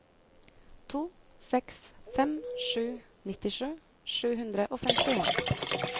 to seks fem sju nittisju sju hundre og femtien